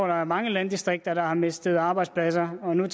der er mange landdistrikter der har mistet arbejdspladser og når